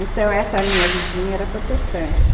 Então essa minha vizinha era protestante.